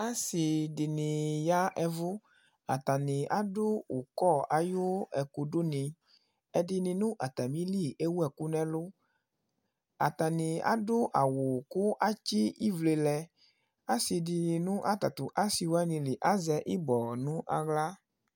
Asi dìní ya avʋ Atani adu ukɔ ayʋ ɛkʋ du ni Ɛdiní nʋ atamili ewu ɛku nʋ ɛlu Atani adu awu kʋ atsi ivle lɛ Asi dìní nʋ atatʋ asi wani li azɛ ibɔ nʋ aɣla